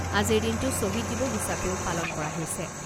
আজিৰ দিনটো ছহিদ দিৱস হিচাপেও পালন কৰা হৈছে।